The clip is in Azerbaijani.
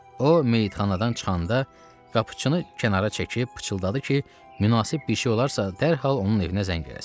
O meyidxanadan çıxanda qapıçını kənara çəkib pıçıldadı ki, münasib bir şey olarsa, dərhal onun evinə zəng eləsin.